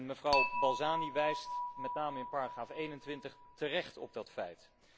Mevrouw Balzani wijst met name in paragraaf 21 terecht op dat feit.